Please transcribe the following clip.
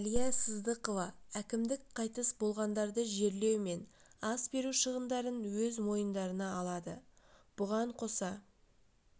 әлия сыздықова әкімдік қайтыс болғандарды жерлеу мен ас беру шығындарын өз мойындарына алады бұған қоса